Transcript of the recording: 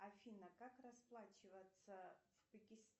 афина как расплачиваться в